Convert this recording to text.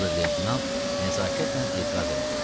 Ober-leytenant nəzakətlə etiraz elədi.